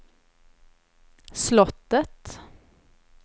slottet